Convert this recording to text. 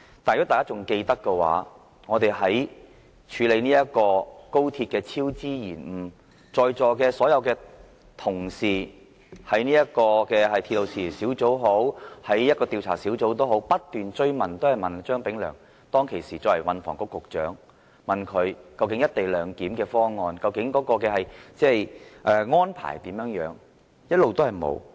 但是，如果大家還記得的話，在處理高鐵超支延誤的時候，席上所有同事在鐵路事宜小組委員會或相關的調查小組也好，均曾不斷追問時任運輸及房屋局局長張炳良，究竟"一地兩檢"方案的安排是怎樣？